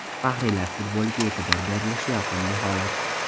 Faxriylar futboliga e’tibor berilishi yoqimli holat.